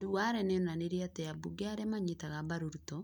Duale nĩ onanirie atĩ ambunge arĩa manyitaga mbaru Ruto ,